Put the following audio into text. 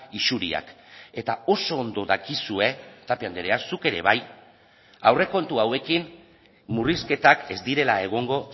isuriak eta oso ondo dakizue tapia andrea zuk ere bai aurrekontu hauekin murrizketak ez direla egongo